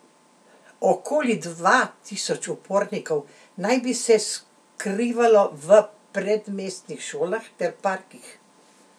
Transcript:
Okoli dva tisoč upornikov naj bi se skrivalo v predmestnih šolah ter parkih.